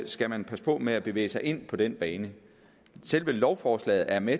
skal man passe på med at bevæge sig ind på den bane selve lovforslaget er med